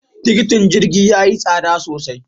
Tikitin jirgi ya yi tsada sosai.